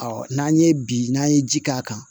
n'an ye bi n'an ye ji k'a kan